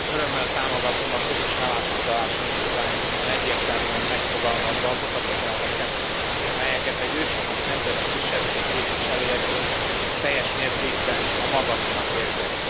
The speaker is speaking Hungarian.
Örömmel támogatom a közös állásfoglalási indítványt, hiszen egyértelműen megfogalmazza azokat az elveket, melyeket egy őshonos nemzeti kisebbség képviselőjeként teljes mértékben a magaménak érzek.